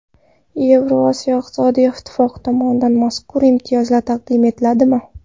Yevrosiyo iqtisodiy ittifoqi tomonidan mazkur imtiyozlar taqdim etiladimi?